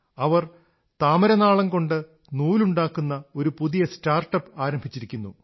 അവർ താമരനാളംകൊണ്ട് നൂലുണ്ടാക്കുന്ന ഒരു പുതിയ സ്റ്റാർട്ടപ് ആരംഭിച്ചിരിക്കുന്നു